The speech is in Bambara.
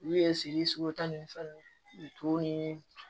U ye siri sogo ta ni fɛn nunnu ye to ni